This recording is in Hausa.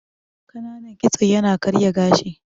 Ƙananan kitso ya na karya gashi